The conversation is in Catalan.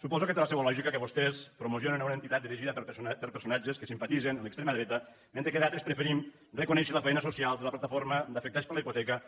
suposo que té la seva lògica que vostès promo cionen una entitat dirigida per personatges que simpatitzen amb l’extrema dreta mentre que d’altres preferim reconèixer la feina social de la plataforma d’afectats per la hipoteca